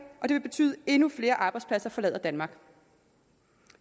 og det vil betyde at endnu flere arbejdspladser forlader danmark